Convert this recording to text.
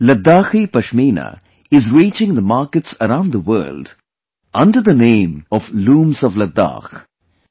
Ladakhi Pashmina is reaching the markets around the world under the name of 'Looms of Ladakh'